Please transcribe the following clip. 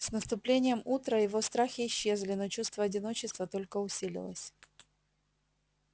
с наступлением утра его страхи исчезли но чувство одиночества только усилилось